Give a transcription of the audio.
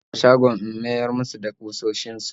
Zan koma shagon in miyar musu da kusoshin su